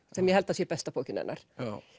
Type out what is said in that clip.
sem ég held að sé besta bókin hennar